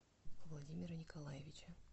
владимира николаевича